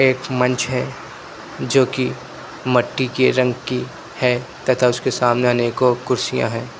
एक मंच है जो की मट्टी के रंग की है तथा उसके सामने आने को कुर्सियां है।